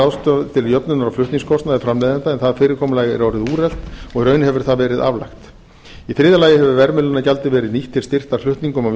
ráðstafað til jöfnunar og flutningskostnaðar framleiðenda en það fyrirkomulag er orðið úrelt og í raun hefur það verið aflagt í þriðja lagi hefur verðmiðlunargjaldið verið nýtt til styrktar flutningum i á